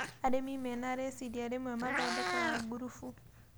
Arimi menarĩciria rĩmwe mathondekaga ngurubu